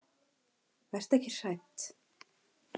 Vertu ekki hrædd.